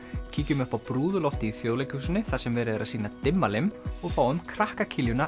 kíkjum upp á brúðuloftið í Þjóðleikhúsinu þar sem verið er að sýna Dimmalimm og fáum krakka